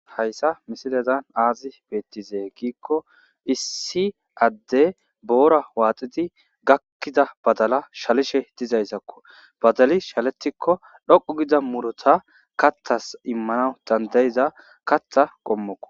hayssa misilezan aazi beettize giikko issi adde boora waaxidi gakkida badala shalishe dizayzakko badali shaletikko dhoqu gida murota kathas immana dandayiza katha qommokko